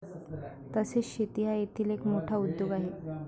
तसेच शेती हा येथील एक मोठा उद्योग आहे.